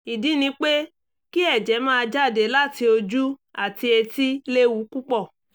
ìdí ni pé kí ẹ̀jẹ̀ máa jáde láti ojú àti etí léwu púpọ̀